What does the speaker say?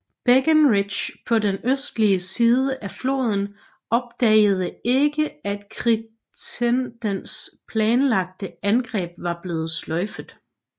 Breckinridge på den østlige side af floden opdagede ikke at Crittendens planlagte angreb var blevet sløjfet